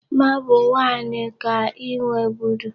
Marble one ka I nweburu?